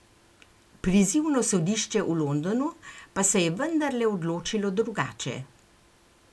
Prizivno sodišče v Londonu pa se je vendarle odločilo drugače.